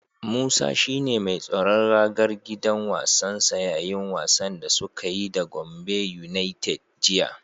Musa shi ne mai tsaron ragar gidan wasansa yayin wasan da suka yi da Gombe yunaited jiya.